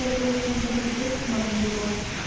торговый центр медведь к магниту